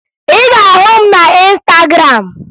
Ị ga-ahụ m na Ịnstagram